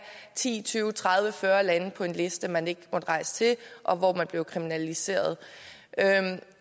ti tyve tredive eller fyrre lande på en liste som man ikke må rejse til og hvor man kunne blive kriminaliseret